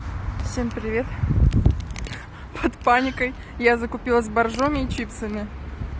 всем привет под паникой я закупилась боржоми и чипсами